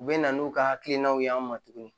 U bɛ na n'u ka hakilinaw ye an ma tuguni